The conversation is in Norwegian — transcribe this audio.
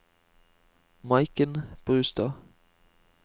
Maiken Brustad